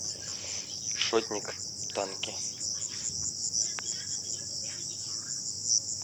шотник танки